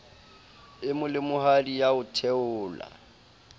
e molemohadi ya ho theola